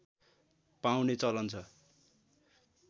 पाउने चलन छ